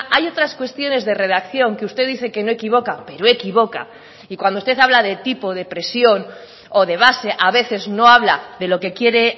hay otras cuestiones de redacción que usted dice que no equivoca pero equivoca y cuando usted habla de tipo de presión o de base a veces no habla de lo que quiere